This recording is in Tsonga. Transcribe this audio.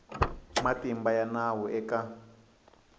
na matimba ya nawu eka